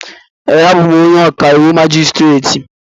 Ee, abụ m ọkàiwụ majistreti